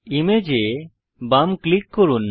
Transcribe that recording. image এ বাম click করুন